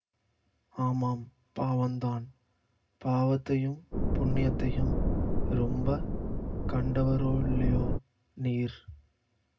ஆமாம் பாவந்தான் பாவத்தையும் புண்ணியத்தையும் ரொம்ப கண்டவரோல்லியோ நீர்